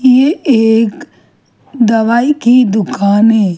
ये एक दवाई की दुकान है।